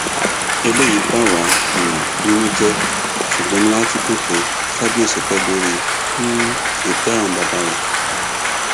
eléyìí bà wá um nínú jẹ ṣùgbọn inú wa tún dùn pé kábíyèsí pé lórí um ìtẹ àwọn bàbá rẹ